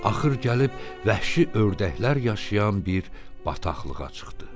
Axır gəlib vəhşi ördəklər yaşayan bir bataqlığa çıxdı.